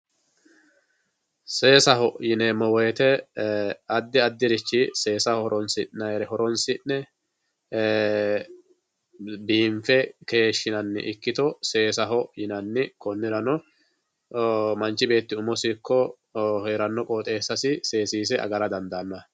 seessaho yineemo woyiite addi addirichi seesa horonsi'nayiire horonsi'ne biinfe keeshinanni ikkito seesaho yinanni kinnirano manchi beeti umosi ikko heranno qoxeesasi seesiise agara dandaano.